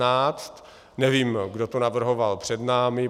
Nevím, kdo to navrhoval před námi.